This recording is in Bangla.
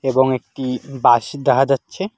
এবং একটি বাঁশ দেখা যাচ্ছে।